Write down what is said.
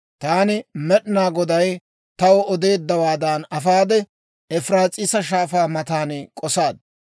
Taani Med'inaa Goday taw odeeddawaadan afaade, Efiraas'iisa Shaafaa matan k'osaad.